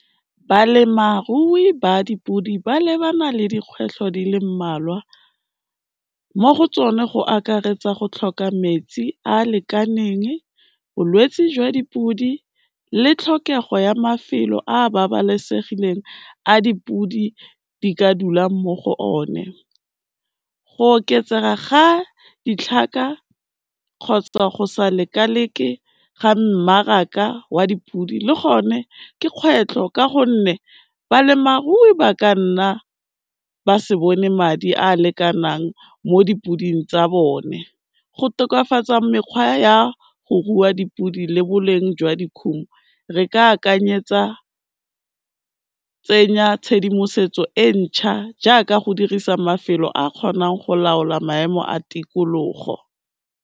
Balemarui ba dipodi ba lebana le dikgwetlho di le mmalwa mo go tsone go akaretsa go tlhoka metsi a lekaneng, bolwetsi jwa dipodi le tlhokego ya mafelo a babalesegileng a dipodi di ka dulang mo go o ne. Go oketsega ga ditlhaka kgotsa go sa lekaleke ga mmaraka wa dipodi, le gone ke kgwetlho ka gonne balemarui ba kanna ba se bone madi a lekanang mo dipodi tsa bone, go tokafatsa mekgwa ya go rua dipodi le boleng jwa dikhumo re ka akanyetsa, tsenya tshedimosetso e ntšha jaaka go dirisa mafelo a kgonang go laola maemo a tikologo.